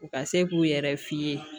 U ka se k'u yɛrɛ fiiye